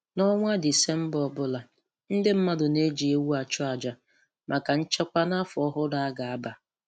N'ọnwa Disemba ọbụla, ndị mmadụ na-eji ewu achụ aja maka nchekwa n'afọ ọhụrụ a ga-aba